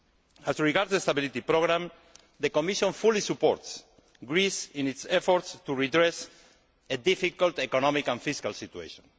As regards the stability programme, the Commission fully supports Greece in its efforts to redress a difficult economic and fiscal situation.